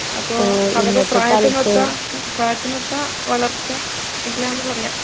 അപ്പൊ, അവൻ്റെ പ്രായത്തിനൊത്ത പ്രായത്തിനൊത്ത വളർച്ച ഇല്ലാന്ന് പറയാം